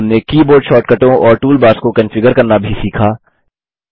हमने कीबोर्ड शॉर्टकटों और टूलबार्स को कन्फिगर करना भी सीखा